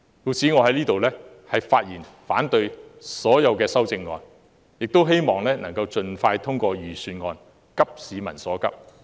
故此，我在此發言反對所有修正案，亦希望能盡快通過預算案，急市民所急。